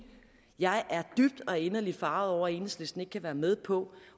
jeg er dybt og inderligt forarget over at enhedslisten ikke kan være med på